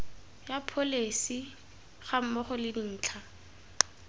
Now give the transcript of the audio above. ya pholesi gammogo le dintlha